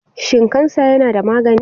Shin kansa yana da magani?